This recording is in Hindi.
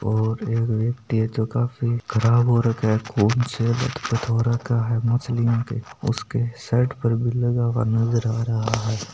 और एक व्यक्ति है जो काफी खराब हो रक्खा है उसके शर्ट भी लगा हुआ नजर आ रहा है।